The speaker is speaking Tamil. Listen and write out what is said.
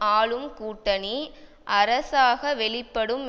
ஆளும் கூட்டணி அரசாக வெளிப்படும்